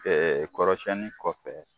kɔrɔsɛnni kɔfɛ